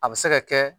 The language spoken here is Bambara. A bɛ se ka kɛ